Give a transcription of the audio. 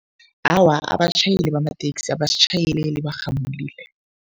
Awa, abatjhayeli bamateksi abasitjhayeleli barhamulile.